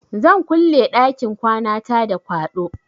Zan kulle ɗakin kwanata da kwaɗo.